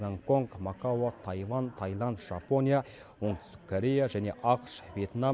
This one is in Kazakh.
гонконг макао тайвань таиланд жапония оңтүстік корея және ақш вьетнам